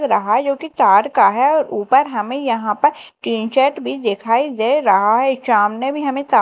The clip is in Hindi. दिख रहा जो कि तार का है और ऊपर हमें यहां पर टीन शेड भी दिखाई दे रहा है सामने भी हमें --